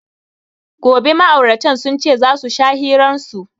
Gobe ma'auratan sun ce za su sha hiran su.